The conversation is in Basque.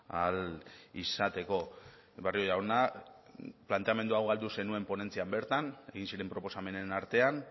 ahal izateko barrio jauna planteamendu hau galdu zenuen ponentzian bertan egin ziren proposamenen artean